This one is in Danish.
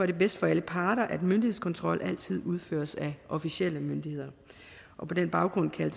det bedst for alle parter at myndighedskontrol altid udføres af officielle myndigheder på den baggrund kan